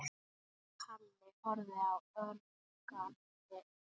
Halli horfði ögrandi á Örn.